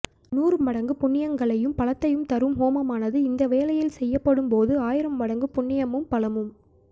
நூறு மடங்கு புண்ணியங்களையும் பலத்தையும் தரும் ஹோமமானது இந்த வேளையில் செய்யப்படும் போது ஆயிரம் மடங்கு புண்ணியமும் பலமும்